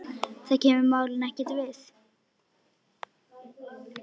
Það kemur málinu ekkert við.